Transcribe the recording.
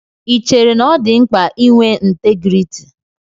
Ì chéré na ọ dị mkpa ị nwé ntégriiti?